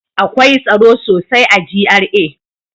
Akwai tsaro sosai a GRA.